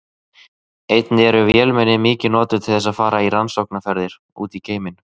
Einnig eru vélmenni mikið notuð til þess að fara í rannsóknarferðir út í geiminn.